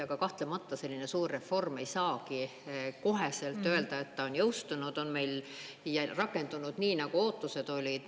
Aga kahtlemata selline suur reform – ei saagi koheselt öelda, et ta on jõustunud ja rakendunud nii, nagu ootused olid.